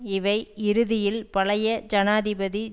இவை இறுதியில் பழைய ஜனாதிபதி